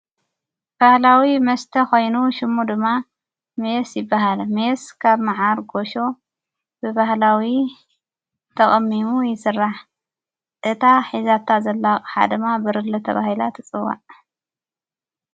ባህላዊ መስተ ኾይኑ ሹሙ ድማ ምስ ይበሃለ ምየስ ካብ መዓር ጐሾ ብባህላዊ ተቐሚሙ ይሥራሕ እታ ኂዛታ ዘላቕ ሓደማ ብርለተ ባሂላ ትጽዋዕ።